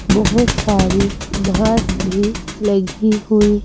बहुत सारी घास भी लगी हुई--